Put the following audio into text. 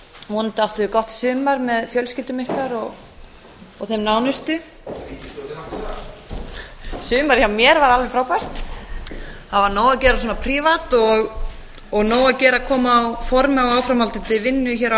vonandi áttuð þið gott sumar með fjölskyldum ykkar og þeim nánustu sumarið hjá mér var alveg frábært það var nóg að gera svona prívat og nóg að gera að koma á formi á áframhaldandi vinnu hér á